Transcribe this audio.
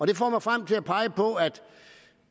det får mig frem til at pege på at